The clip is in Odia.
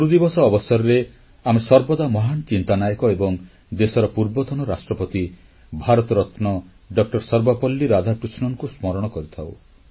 ଗୁରୁଦିବସ ଅବସରରେ ଆମେ ସର୍ବଦା ମହାନ ଚିନ୍ତାନାୟକ ଏବଂ ଦେଶର ପୂର୍ବତନ ରାଷ୍ଟ୍ରପତି ଭାରତରତ୍ନ ଡସର୍ବପଲ୍ଲୀ ରାଧାକୃଷ୍ଣନଙ୍କୁ ସ୍ମରଣ କରିଥାଉଁ